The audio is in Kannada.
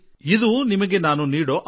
ನಿಮಗೆ ನನ್ನ ಆಮಂತ್ರಣವಿದೆ